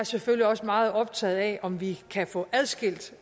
selvfølgelig også meget optaget af om vi kan få adskilt